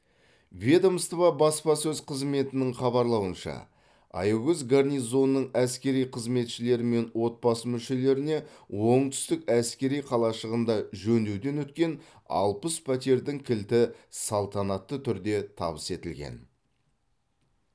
ведомство баспасөз қызметінің хабарлауынша аягөз гарнизонының әскери қызметшілері мен отбасы мүшелеріне оңтүстік әскери қалашығында жөндеуден өткен алпыс пәтердің кілті салтанатты түрде табыс етілген